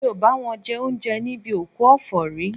Mi ò bá wọn jẹ oúnjẹ níbi òkú ọ̀fọ̀ rí